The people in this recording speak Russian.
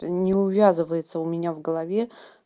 не увязывается у меня в голове